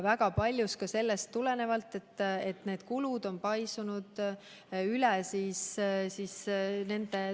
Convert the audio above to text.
Väga paljuski tuleneb see vajadus ka sellest, et kulud on paisunud üle tulude.